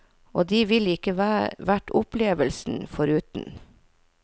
Og de ville ikke vært opplevelsen foruten.